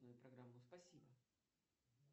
программу спасибо